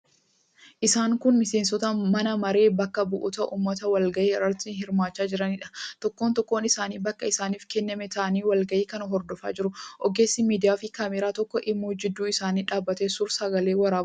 Isaan kun miseensota Mana Maree Bakka Bu'oota Uummataa walgahii irratti hirmaachaa jiraniidha. Tokkoon tokkoon isaanii bakka isaaniif kenname taa'anii walgahii kana hordofaa jiru. Ogeessi miidiyaafi kaameeraa tokko immoo gidduu isaanii dhaabbatee suur-sagalee waraabaa jira.